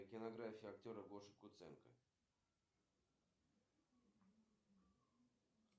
сбер какие еще технические ошибки автоматизированной системы банка могут произойти